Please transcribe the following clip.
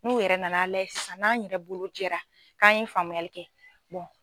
N'u yɛrɛ nana layɛ sisan n'an yɛrɛ bolo jɛra k'an ye faamuyali kɛ